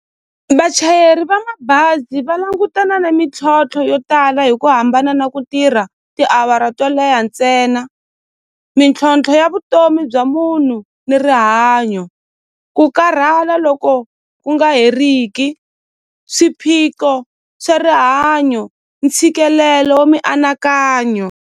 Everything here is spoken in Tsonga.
Vachayeri va mabazi va langutana na mintlhontlho yo tala hi ku hambana na ku tirha tiawara to leha ntsena mintlhontlho ya vutomi bya munhu ni rihanyo ku karhala loko ku nga heriki swiphiqo swa rihanyo ntshikelelo wa mianakanyo.